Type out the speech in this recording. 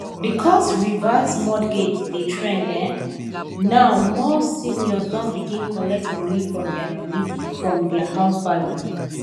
because reverse mortgage dey trend um now more seniors don begin collect money from their money from their house value